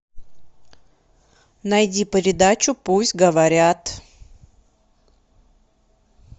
найди передачу пусть говорят